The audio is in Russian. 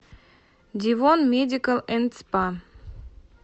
девон медикал энд спа